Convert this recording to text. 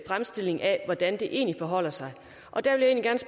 fremstilling af hvordan det egentlig forholder sig